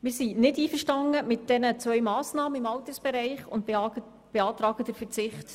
Wir sind mit diesen beiden Massnahmen im Altersbereich nicht einverstanden und beantragen, auf diese zu verzichten.